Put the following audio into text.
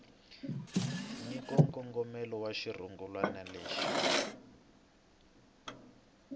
nyika nkongomelo wa xirungulwana lexi